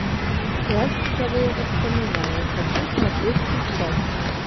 пластиковые воспоминания хочу смотреть сейчас